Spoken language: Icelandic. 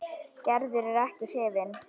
Gerður er ekki hrifin.